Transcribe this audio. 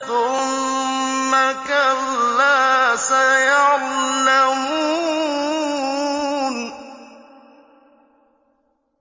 ثُمَّ كَلَّا سَيَعْلَمُونَ